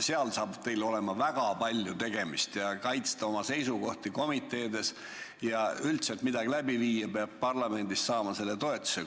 Seal saab teil olema väga palju tegemist, tuleb kaitsta oma seisukohti komiteedes ja üldse, et midagi läbi viia, peab parlamendis toetuse saama.